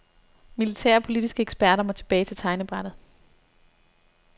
Militære og politiske eksperter må tilbage til tegnebrættet.